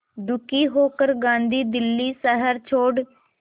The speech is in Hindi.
दुखी होकर गांधी दिल्ली शहर छोड़